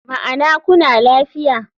Ma'ana kuna lafiya.